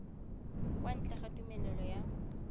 kwa ntle ga tumelelo ya